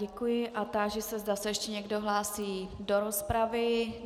Děkuji a táži se, zda se ještě někdo hlásí do rozpravy.